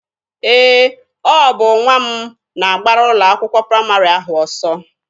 Ee, ọ bụ nwa m na-agbara ụlọ akwụkwọ praịmarị ahụ ọsọ.